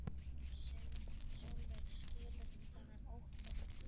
Sólveig: Skilur þú þennan ótta?